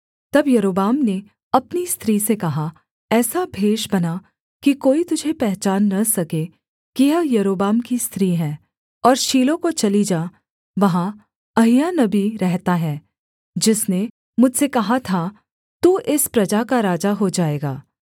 तब यारोबाम ने अपनी स्त्री से कहा ऐसा भेष बना कि कोई तुझे पहचान न सके कि यह यारोबाम की स्त्री है और शीलो को चली जा वहाँ अहिय्याह नबी रहता है जिसने मुझसे कहा था तू इस प्रजा का राजा हो जाएगा